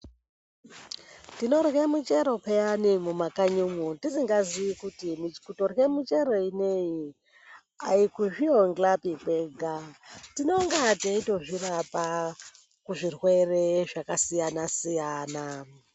Tinorye michero peyani mumakanyi umwu tisingaziyi kuti kutorye michero ineyi ayikuzviondhlapi kwega, tinonga teitozvirapa kuzvirwere zvakasiyana siyana.